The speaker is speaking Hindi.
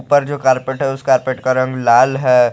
पर जो कारपेट है उसे कारपेट का रंग लाल है।